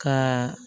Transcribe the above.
Ka